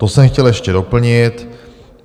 To jsem chtěl ještě doplnit.